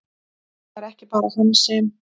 Það er ekki bara hann sem!